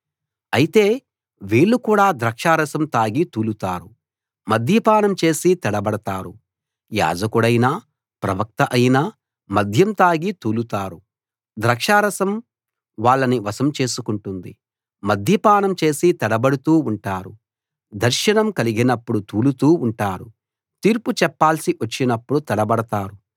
అయితే వీళ్ళు కూడా ద్రాక్షారసం తాగి తూలుతారు మద్యపానం చేసి తడబడతారు యాజకుడైనా ప్రవక్త అయినా మద్యం తాగి తూలుతారు ద్రాక్షారసం వాళ్ళని వశం చేసుకుంటుంది మద్యపానం చేసి తడబడుతూ ఉంటారు దర్శనం కలిగినప్పుడు తూలుతూ ఉంటారు తీర్పు చెప్పాల్సి వచ్చినప్పుడు తడబడతారు